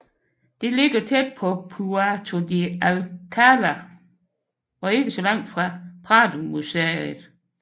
Det ligger tæt på Puerto de Alcalá og ikke så langt fra Pradomuseet